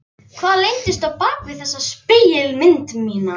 Hvað leyndist á bak við þessa spegilmynd mína?